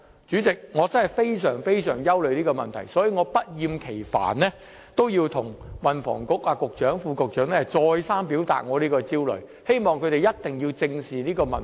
主席，我真的非常憂慮這問題，所以我不厭其煩地向運輸及房屋局局長和副局長再三表達我這個焦慮，希望他們一定要正視這問題。